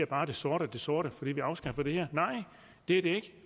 bare det sorte af det sorte fordi vi afskaffer det det her nej det er det